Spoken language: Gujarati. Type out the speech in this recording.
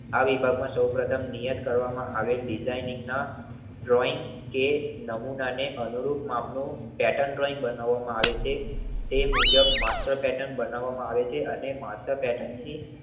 આ વિભાગમાં સૌ પ્રથમ નિયત કરવામાં આવેલ ડિઝાઇનિંગ ના ડ્રોઈંગ કે નમૂનાને અનુરૂઢ માપનું પેટર્ન ડ્રોઈંગબનાવામાં આવે છે. તે મુજબ માત્ર પેટન બનાવામાં આવે છે. અને માત્ર પેટર્નની